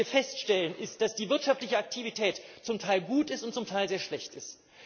Was wir feststellen, ist, dass die wirtschaftliche Aktivität zum Teil gut ist und zum Teil sehr schlecht ist.